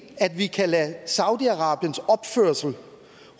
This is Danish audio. at vi kan lade saudi arabiens opførsel